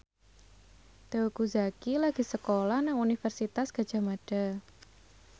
Teuku Zacky lagi sekolah nang Universitas Gadjah Mada